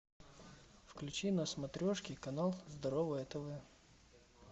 включи на смотрешке канал здоровое тв